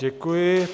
Děkuji.